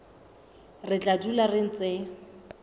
re tla dula re ntse